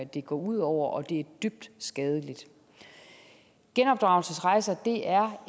det går ud over og det er dybt skadeligt genopdragelsesrejser er